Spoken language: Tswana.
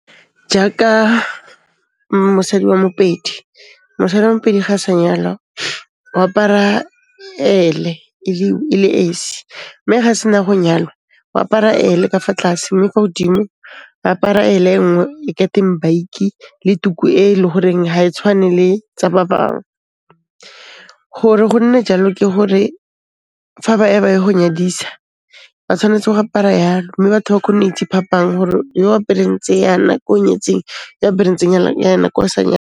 Jaaka, mosadi wa Mopedi, mosadi wa Mopedi ga a sa nyalwa, o apara ele e le esi. Mme ga a sena go nyalwa, o apara ele ka fa tlase mme kwa godimo ba apara ele e nngwe e ka teng baki le tuku e le horeng ha e tshwane le, tsa ba bang. Gore go nne jalo ke hore, fa ba ya ba ye ho nyadisa ba tshwanetse go apara yalo mme batho ba kgone ho itse phapang hore yo apereng tse yana, ke o nyetseng, yo o apereng ke o sa .